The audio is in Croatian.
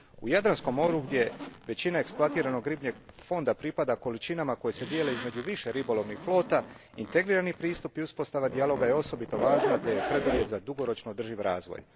U Jadranskom moru, gdje većina eksploatiranog ribljeg fonda pripada količinama koje se dijele između više ribolovnih flota, integrirani pristup i uspostava dijaloga je osobito važna te je preduvjet za dugoročno održiv razvoj.